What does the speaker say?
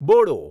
Bodo